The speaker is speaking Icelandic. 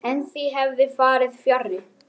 En því hefði farið fjarri.